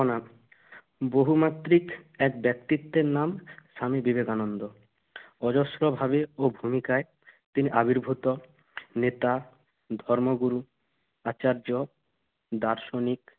mem বহুমাত্রিক এক ব্যক্তিত্বের নাম স্বামী বিবেকানন্দ। অজস্রভাবে ও ভূমিকায় তিনি আবির্ভূত। নেতা, ধর্মগুরু, আচার্য, দার্শনিক,